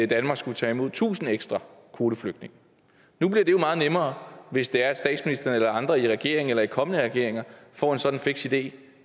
danmark skulle tage imod tusind ekstra kvoteflygtninge nu bliver det jo meget nemmere hvis det er at statsministeren eller andre i regeringen eller i kommende regeringer får en sådan fiks idé